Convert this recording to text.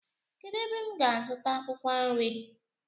Kedụ ebe m gá-azuta akwụkwọ nri?